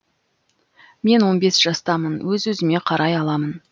мен он бес жастамын өз өзіме қарай аламын